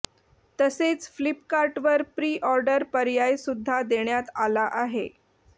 तसेच फ्लिपकार्टवर pre order पर्याय सुद्धा देण्यात आला आहे